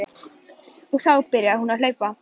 Og þá byrjar hún að hlaupa.